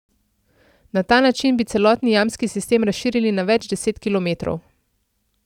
Na ta način bi celotni jamski sistem razširili na več deset kilometrov.